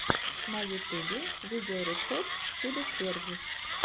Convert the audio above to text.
на ютубе видеорецепт чудо червь